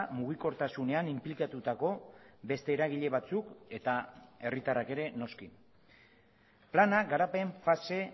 mugikortasunean inplikatutako beste eragile batzuk eta herritarrak ere noski plana garapen fase